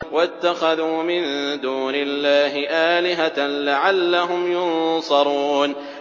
وَاتَّخَذُوا مِن دُونِ اللَّهِ آلِهَةً لَّعَلَّهُمْ يُنصَرُونَ